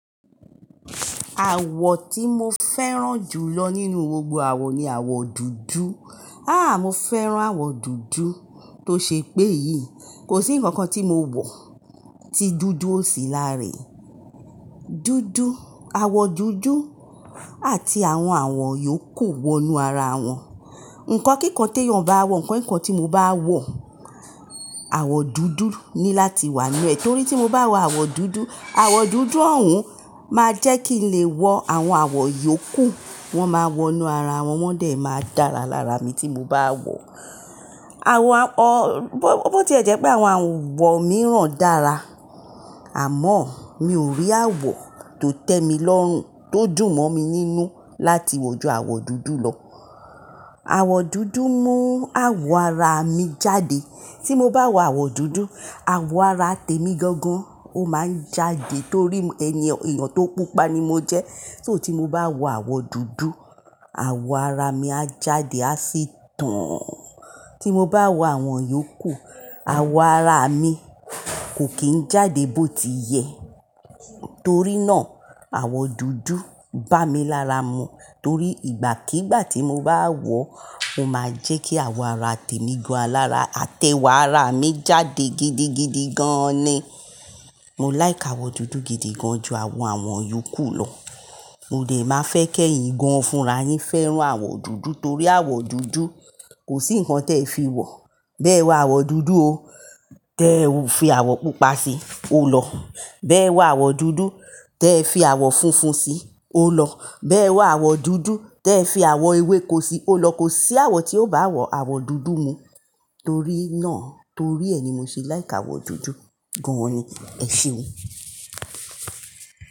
Àwọ̀ tí mo fẹ́ràn jù lọ nínú gbogbo àwọ̀ ni àwọ̀ dúdú. Háá mo fẹ́ràn àwọ̀ dúdú tó ṣe pé yìí, kò sí ǹkan kan tí mo wọ̀ tí dúdú ò sí lára e Dúdú, àwọ̀ dúdú àti àwọn àwọ̀ yòókù wọ inú ara àwọn. Ǹkan kíkan tó yàn bá wọ̀, ǹkan kíkan tí mo bá wọ̀, àwọ̀ dúdú ni láti wà ninu è. Nítorí tí mo bá wọ àwọ̀ dúdú, àwọ̀ dúdú ọ̀hún máa jẹ́ kí n lè wọ àwọn àwọ̀ yòókù, wọ́n máa wọ inú ara wọn, wọ́n dàí máa dára lára mi tí mo bá wọ̀. Àwọ̀ à-- bọ̀ tí ẹ jẹ́ pé àwọn àwọ̀ mìíràn dára, àmọ́ mi ò rí àwọ̀ tó tẹ́ mi lọ́rùn, tó dùn mọ́ mi nínú láti wọ̀ ju àwọ̀ dúdú lọ. Àwọ̀ dúdú mú àwọ̀ ara mi jáde. Tí mo bá wọ àwọ̀ dúdú, àwọ̀ ara tèmi gangan ó máa ń jáde torí ẹni, èèyàn tó pupa ni mo jẹ́. Só tí mo bá wọ àwọ̀ dúdú, àwọ̀ ara mi a jáde, a sì tàn. Tí mo bá wọ àwọn yòókù, àwọ̀ ara mi kò kì í jáde bó ti yẹ. Nítorí náà àwọ̀ dúdú bá mi lára mu. Torí ìgbàkígbà tí mo bá wọ, ó máa ń jẹ́ kí àwọ̀ ara tèmi gan alára àti ewa ara mi jáde gidigidi gan ni. Mo láìk àwọ̀ dúdú gidi gan ju àwọn àwò yòókù lọ. Mo dàí máa fẹ́ kẹ́yìn gan fúnra yín fẹ́ràn àwọ̀ dúdú torí àwọ̀ dúdú kò sí ǹkan tí ẹ fi wọ̀. Bí ẹ wọ àwọ̀ dúdú o, tẹ fi àwọ̀ pupa sí i, ó lọ. Bí ẹ wọ àwọ̀ dúdú, tẹ fi àwọ̀ funfun sí i, ó lọ. Bí ẹ wọ àwọ̀ dúdú, tẹ fi àwọ̀ ewéko sí i, ó lọ. Kò sí àwọ̀ tí ó bá àwọ̀ àwọ̀ dúdú mu. Torí náà, torí ẹ ni mo ṣe láìk àwọ̀ dúdú gan ni. Èṣeun.